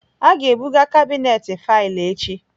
A ga-ebuga kabinet faịlụ echi